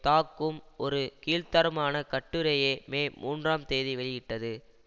தாக்கும் ஒரு கீழ்த்தரமான கட்டுரையை மே மூன்றாம் தேதி வெளியிட்டது